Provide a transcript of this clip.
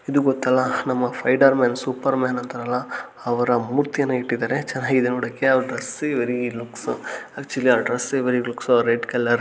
ಇದು ಗೊತ್ತಲ್ಲ ನಮ್ಮ ಸ್ಪೈಡರ್ಮ್ಯಾನ್ ಸೂಪರ್ಮ್ಯಾನ್ ಅಂತಾರಲ್ಲ ಅವರ ಮೂರ್ತಿಯನ್ನ ಇಟ್ಟಿದ್ದಾರೆ ಚೆನ್ನಾಗಿದೆ ನೋಡೋಕೆ ಅವರ ಡ್ರೆಸ್ ವೇಯ್ ಲುಕ್ಸ್ ಆಕ್ಟ್ನಳ್ಳಿಲಿ ಅವರ dress very looks uh red colour --